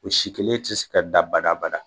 O si kelen te se ka dan bada bada